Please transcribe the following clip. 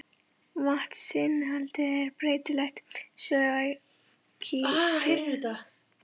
Vatnsinnihaldið er breytilegt, svo og kísilinnihaldið.